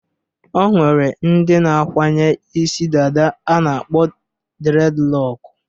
O nwere ndị na-akwanye isi dada a na-akpọ dredlọk.